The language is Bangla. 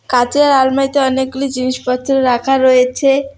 কাঁচের আলমারিতে অনেকগুলি জিনিসপত্র রাখা রয়েছে।